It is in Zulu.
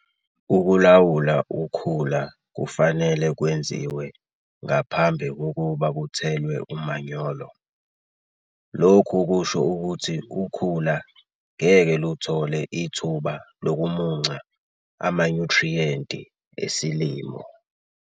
Ukulawula ukhula kufanele kwenziwe ngaphambi kokuba kuthelwe umanyolo. Lokhu kusho ukuthi ukhula ngeke luthole ithuba lokumunca amanyuthriyenti esilimo.